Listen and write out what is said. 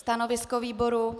Stanovisko výboru?